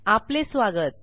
आपले स्वागत